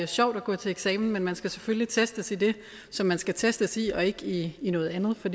sjovt at gå til eksamen men man skal selvfølgelig testes i det som man skal testes i og ikke i noget andet for